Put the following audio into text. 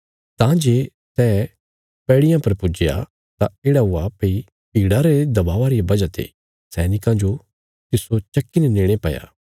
तां जे सै पैड़ियां पर पुज्जया तां येढ़ा हुआ भई भीड़ा रे दबावा रिया वजह ते सैनिकां जो तिस्सो चक्की ने नेणे पैया